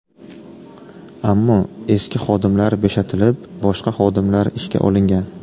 Ammo eski xodimlar bo‘shatilib, boshqa xodimlar ishga olingan.